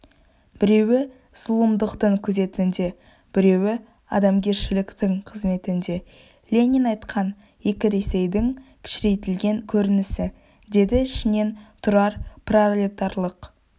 біреуі зұлымдықтың күзетінде біреуі адамгершіліктің қызметінде ленин айтқан екі ресейдің кішірейтілген көрінісі деді ішінен тұрар пролетарлық